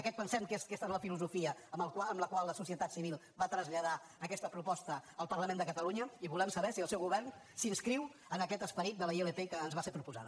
aquesta pensem que és la filosofia amb la qual la societat civil va traslladar aquesta proposta al parlament de catalunya i volem saber si el seu govern s’inscriu en aquest esperit de la ilp que ens va ser proposada